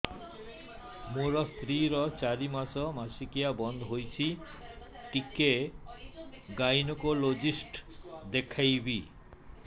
ମୋ ସ୍ତ୍ରୀ ର ଚାରି ମାସ ମାସିକିଆ ବନ୍ଦ ହେଇଛି ଟିକେ ଗାଇନେକୋଲୋଜିଷ୍ଟ ଦେଖେଇବି